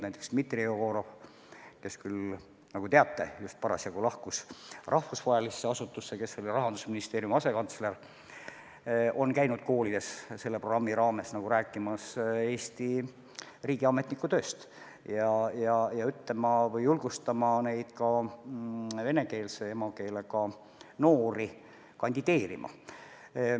Näiteks Dmitri Jegorov, kes küll, nagu te teate, just lahkus rahvusvahelisse asutusse, aga seni oli Rahandusministeeriumi asekantsler, on käinud koolides selle programmi raames rääkimas Eesti riigiametniku tööst ja julgustamas ka venekeelse emakeelega noori kandideerima.